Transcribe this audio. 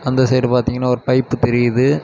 அந்த சைடு பாத்தீங்கன்னா ஒரு பைப் தெரியுது.